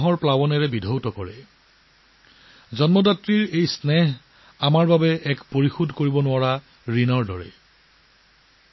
মাকৰ প্ৰতি এই মৰম স্নেহ আমাৰ সকলোৰে বাবে ঋণৰ দৰে যিটো কোনেও পৰিশোধ কৰিব নোৱাৰে